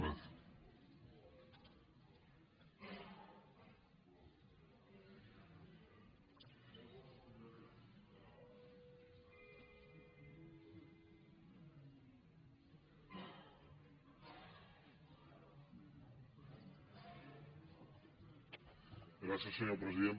gràcies senyor president